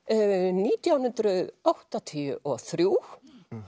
nítján hundruð áttatíu og þrjú